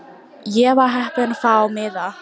Ég var heppin að fá miða.